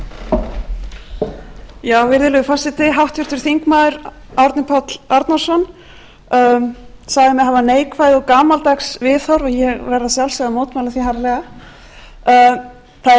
að sjálfsögðu að mótmæla því harðlega það eina sem ég var að benda á og sem er gríðarlega mikilvægt var